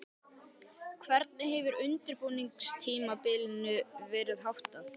Hvernig hefur undirbúningstímabilinu verið háttað?